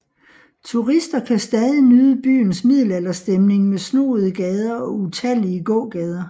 Turister kan stadig nyde byens middelalderstemning med snoede gader og utallige gågader